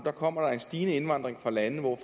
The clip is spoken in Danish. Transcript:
kommer der en stigende indvandring fra lande hvor